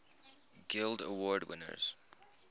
guild award winners